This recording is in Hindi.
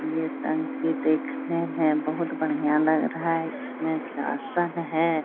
ये टंकी देखने में बहुत बढ़िया लग रहा है इसमें किरासन है।